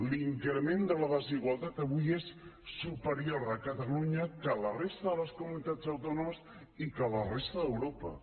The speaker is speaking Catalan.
l’increment de la desigualtat avui és superior a catalunya que a la resta de les comunitats autònomes i que a la resta d’europa